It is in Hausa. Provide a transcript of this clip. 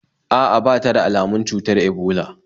A'a, ba ta da almun cutar ebola